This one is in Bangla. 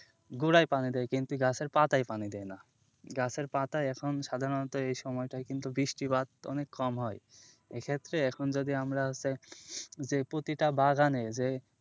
গোড়ায় পানি দেয় কিন্তু গাছের পাতায় পানি দেয় না, গাছের পাতায় এখন সাধারণত এই সময়টায় কিন্তু বৃষ্টিপাত অনেক কম হয়, এক্ষেত্রে এখন যদি আমরা হচ্ছে যে প্রতিটা বাগানে যে,